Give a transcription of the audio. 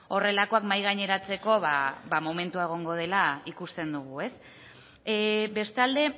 horrelakoak mahai gaineratzeko momentua egongo dela ikusten dugu bestalde